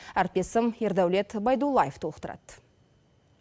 әріптесім ердәулет байдуллаев толықтырады